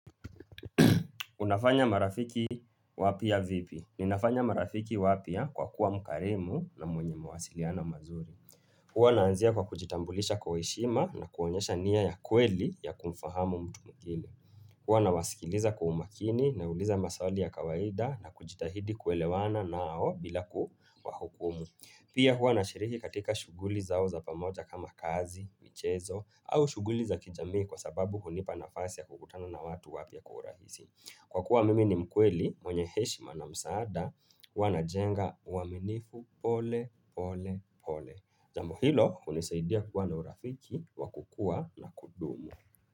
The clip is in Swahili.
Unafanya marafiki wapia vipi? Ninafanya marafiki wapya kwa kuwa mkarimu na mwenye mawasiliano mazuri. Huwa naanzia kwa kujitambulisha kwa heshima na kuonyesha nia ya kweli ya kumfahamu mtu mgeni. Huwa nawasikiliza kwa umakini na uliza maswali ya kawaida na kujitahidi kuelewana nao bila kuwa hukumu. Pia huwa nashiriki katika shuguli zao za pamoja kama kazi, michezo au shuguli za kijamii kwa sababu hunipa nafasi ya kukutana na watu wapia kwa urahisi. Kwa kuwa mimi ni mkweli, mwenye heshima na msaada, huwanajenga uaminifu pole, pole, pole. Jambo hilo, hunisaidia kuwa na urafiki, wakukua na kudumu.